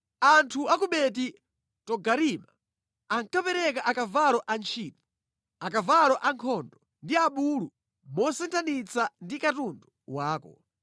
“Anthu a ku Beti Togarima ankapereka akavalo antchito, akavalo ankhondo ndi abulu mosinthanitsa ndi katundu wako.